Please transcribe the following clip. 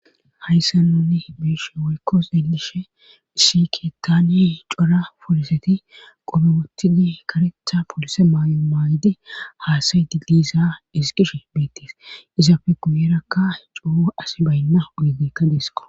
Hayssa nunni biishe woykko xeelishe sikeettani cora poliseti qobewottidi karetha polise maay7o maayide haasayidi diiza isqishe beettees izafe guyerakka cuo as baynna ugedekka deesqo